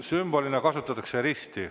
Sümbolina kasutatakse risti.